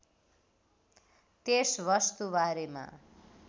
त्यस वस्तु बारेमा